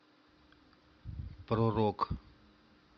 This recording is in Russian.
про рок